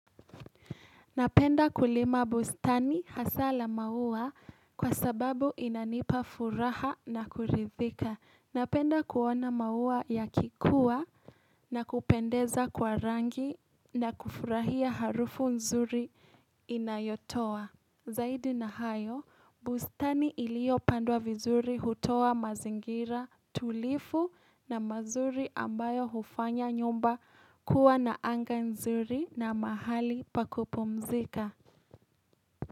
Napenda kulima bustani hasa la maua kwa sababu inanipa furaha na kurithika. Napenda kuona maua yakikua na kupendeza kwa rangi na kufurahia harufu nzuri inayotoa. Zaidi na hayo, bustani iliyopandwa vizuri hutowa mazingira tulivu na mazuri ambayo hufanya nyumba kuwa na anga nzuri na mahali pa kupumzika.